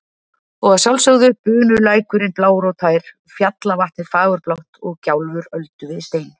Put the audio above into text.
Og að sjálfsögðu bunulækurinn blár og tær, fjallavatnið fagurblátt og gjálfur öldu við stein.